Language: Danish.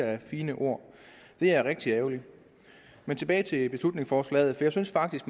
af fine ord det er rigtig ærgerligt men tilbage til beslutningsforslaget jeg synes faktisk